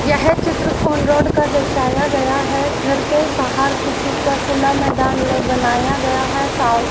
यह चित्र on road का दर्शाया गया है घर के बाहर किसी का खुला मैदान ल बनाया गया है सा--